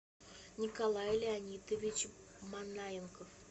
николай леонидович манаенко